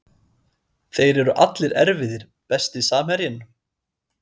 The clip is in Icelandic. Þeir eru allir erfiðir Besti samherjinn?